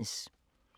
DR P2